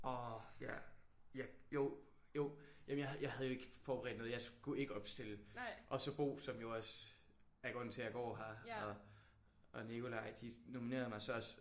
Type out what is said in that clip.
Åh ja ja jo jo jamen jeg havde jeg havde jo ikke forberedt noget. Jeg skulle ikke opstille og så Bo som jo også er grunden til at jeg går her og og Nikolaj de nominerede mig så også